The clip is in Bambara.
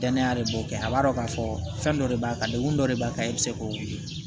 Danaya de b'o kɛ a b'a dɔn k'a fɔ fɛn dɔ de b'a kan degun dɔ de b'a kan i bɛ se k'o wele